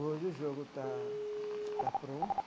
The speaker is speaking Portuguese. Hoje o jogo está está pronto.